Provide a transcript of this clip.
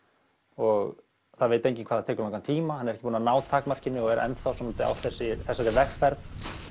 og það veit enginn hvað það tekur langan tíma hann er búinn að ná takmarkinu og er enn þá svolítið á þessari vegferð